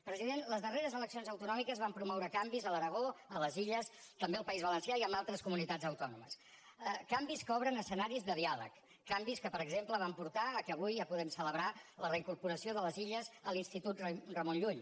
president les darreres eleccions autonòmiques van promoure canvis a l’aragó a les illes també al país valencià i en altres comunitats autònomes canvis que obren escenaris de diàleg canvis que per exemple van portar que avui ja puguem celebrar la reincorporació de les illes a l’institut ramon llull